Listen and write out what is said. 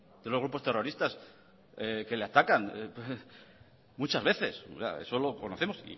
de los grupos terroristas que le atacan muchas veces eso lo conocemos